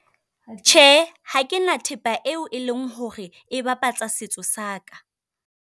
Tjhe, ha ke na thepa eo e leng hore e bapatsa setso sa ka.